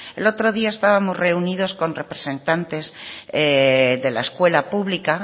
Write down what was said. el otro día estábamos reunidos con representantes de la escuela pública